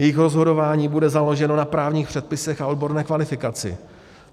Jejich rozhodování bude založeno na právních předpisech a odborné kvalifikaci.